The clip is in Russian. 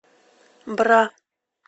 бра